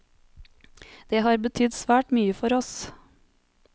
Det har betydd svært mye for oss.